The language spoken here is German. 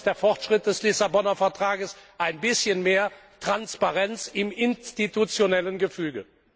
Das ist der Fortschritt des Lissabonner Vertrages ein bisschen mehr Transparenz im institutionellen Gefüge.